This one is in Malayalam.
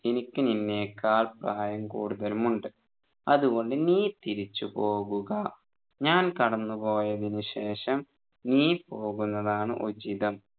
എനിക്ക്‌ നിന്നെക്കാൾ പ്രായം കൂടുതലുമുണ്ട് അതുകൊണ്ട് നീ തിരിച്ചുപോവുക ഞാൻ കടന്നുപോയതിനു ശേഷം നീ പോകുന്നതാണ് ഉചിതം